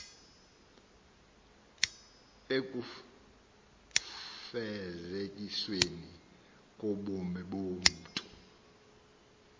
ekufezekisweni kobume bomntu